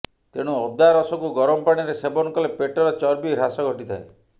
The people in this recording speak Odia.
ତେଣୁ ଅଦା ରସକୁ ଗରମ ପାଣିରେ ସେବନ କଲେ ପେଟର ଚର୍ବି ହ୍ରାସ ଘଟିଥାଏ